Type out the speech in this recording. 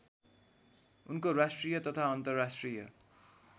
उनको राष्ट्रिय तथा अन्तर्राष्ट्रिय